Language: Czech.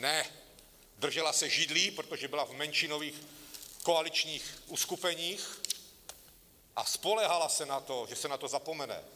Ne, držela se židlí, protože byla v menšinových koaličních uskupeních, a spoléhala se na to, že se na to zapomene.